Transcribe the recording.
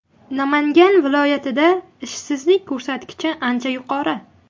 Namangan viloyatida ishsizlik ko‘rsatkichi ancha yuqori.